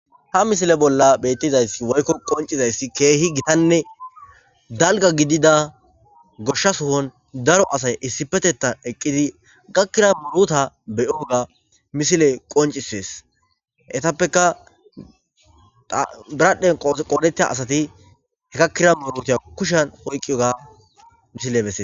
ha misile bolla bettizayssi woykko qoncizayssi keehi gitanne dalga gidida goshsha suhon daro asay issipetettan eqqidi gakkira muruta beyoga misile qoncisees etappeka biradhdhen qoodeta asati he gakkira muruta kushan hoyqiyga misile bese